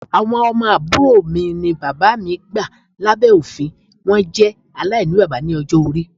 Awọn ọmọ aburo mi ni baba mi gba labẹ ofin, wọn jẹ alainibaba ni ọjọ-ori